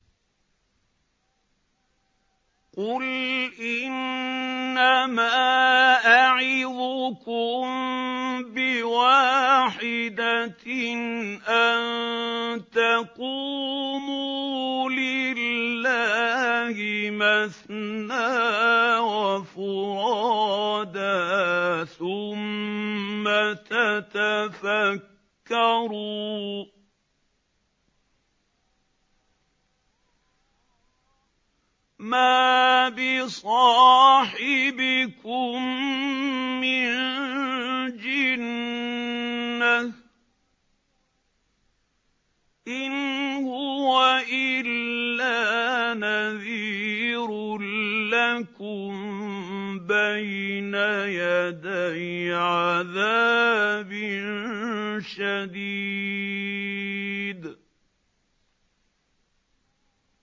۞ قُلْ إِنَّمَا أَعِظُكُم بِوَاحِدَةٍ ۖ أَن تَقُومُوا لِلَّهِ مَثْنَىٰ وَفُرَادَىٰ ثُمَّ تَتَفَكَّرُوا ۚ مَا بِصَاحِبِكُم مِّن جِنَّةٍ ۚ إِنْ هُوَ إِلَّا نَذِيرٌ لَّكُم بَيْنَ يَدَيْ عَذَابٍ شَدِيدٍ